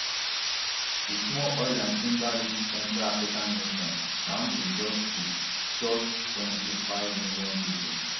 di small oiland timberrich central african nation na home to just to just twenty-five million pipo